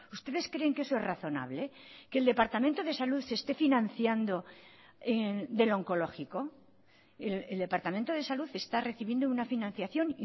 ustedes creen que eso es razonable que el departamento de salud se esté financiando del oncológico el departamento de salud está recibiendo una financiación